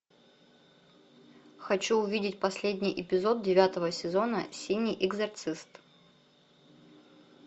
хочу увидеть последний эпизод девятого сезона синий экзорцист